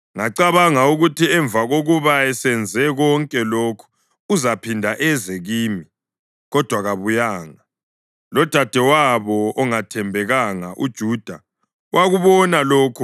Ngacabanga ukuthi emva kokuba esenze konke lokhu uzaphinda eze kimi, kodwa kabuyanga, lodadewabo ongathembekanga uJuda wakubona lokho.